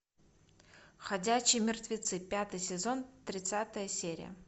ходячие мертвецы пятый сезон тридцатая серия